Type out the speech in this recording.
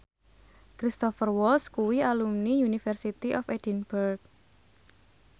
Cristhoper Waltz kuwi alumni University of Edinburgh